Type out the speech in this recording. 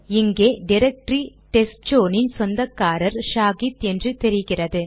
இங்கே directory test zone இன் சொந்தக்காரர் ஷாஹித் என்று தெரிகிறது